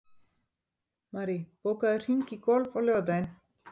Marie, bókaðu hring í golf á laugardaginn.